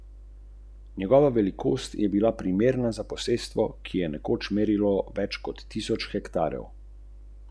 Rodila se je z nizkim inteligenčnim količnikom revnemu očetu z motnjami v duševnem razvoju ...